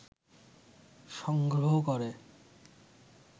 সংগ্রহ করে